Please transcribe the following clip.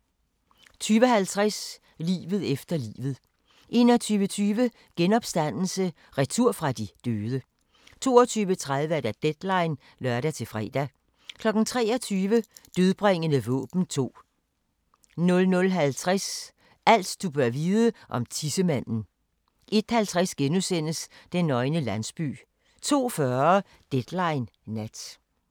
20:50: Livet efter livet 21:20: Genopstandelse – retur fra de døde 22:30: Deadline (lør-fre) 23:00: Dødbringende våben 2 00:50: Alt du bør vide om tissemanden 01:50: Den nøgne landsby * 02:40: Deadline Nat